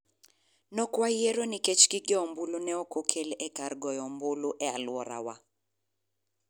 Nokwayiero nikech gigombulu ne okokel e kar goyo ombulu e alworawa.